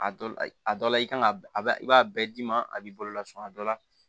A dɔ la a dɔ la i kan ka a i b'a bɛɛ d'i ma a b'i bolo lasun a dɔ la